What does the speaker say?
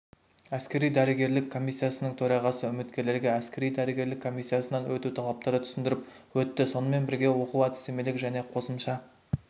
әскери-дәрігерлік комиссиясының төрағасы үміткерлерге әскери-дәрігерлік комиссиясынан өту талаптарын түсіндіріп өтті сонымен бірге оқу әдістемелік және қосымша